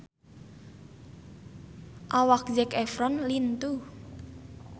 Awak Zac Efron lintuh